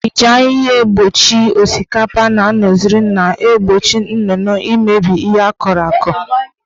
Iji ahịhịa kpuchie osikapa na nọzịrị na-egbochi nnụnụ imebi ihe akọrọ akọ.